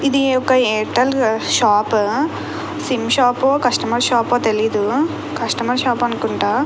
ఇది ఒక Airtel shop sim shop customer shop తెలియదు కస్టమర్ షాప్ అనుకుంటా.